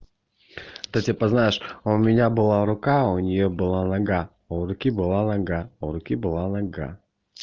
это типа знаешь а у меня была рука а у неё была нога а у руки была нога а у руки была нога